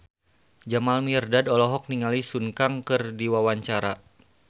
Jamal Mirdad olohok ningali Sun Kang keur diwawancara